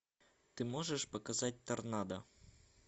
ты можешь показать торнадо